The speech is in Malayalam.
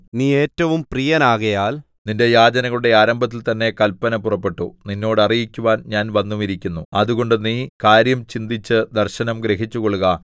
നീ ഏറ്റവും പ്രിയനാകയാൽ നിന്റെ യാചനകളുടെ ആരംഭത്തിൽതന്നെ കല്പന പുറപ്പെട്ടു നിന്നോട് അറിയിക്കുവാൻ ഞാൻ വന്നുമിരിക്കുന്നു അതുകൊണ്ട് നീ കാര്യം ചിന്തിച്ച് ദർശനം ഗ്രഹിച്ചുകൊള്ളുക